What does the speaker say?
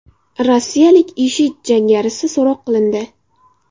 Rossiyalik IShID jangarisi so‘roq qilindi.